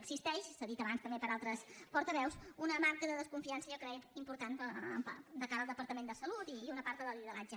existeix s’ha dit abans també per altres portaveus una manca de confiança jo crec important de cara al departament de salut i una part del lideratge